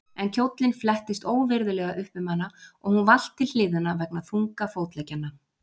En kjóllinn flettist óvirðulega upp um hana og hún valt til hliðanna vegna þunga fótleggjanna.